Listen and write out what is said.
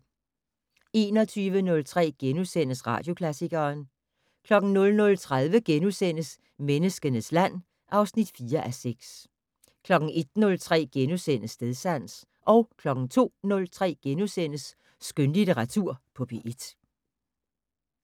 21:03: Radioklassikeren * 00:30: Menneskenes land (4:6)* 01:03: Stedsans * 02:03: Skønlitteratur på P1 *